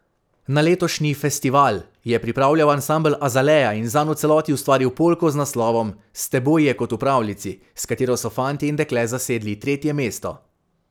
Na letošnji festival je pripravljal ansambel Azalea in zanj v celoti ustvaril polko z naslovom S teboj je kot v pravljici, s katero so fantje in dekle zasedli tretje mesto.